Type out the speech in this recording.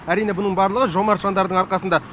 әрине бұның барлығы жомарт жандардың арқасында